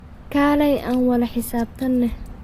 Kaleyh aan wala xisabtanex.